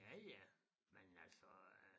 Ja ja men altså øh